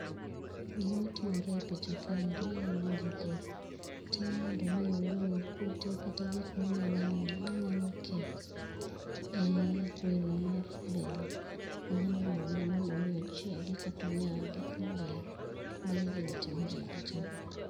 Gima timore e picha kaeri en ni japur temo mondo omi ogol kute kata gik manyalo miyo manyalo kee ee wino mar bel manyalo mone mondo omi ochiegi kata onyagi maber mano e gima timore e picha ni.